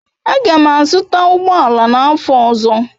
Aga m azụta ụgbọ ala n'afọ ọzọ.